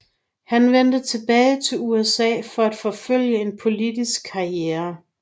Han vendte tilbage til USA for at forfølge en politisk karriere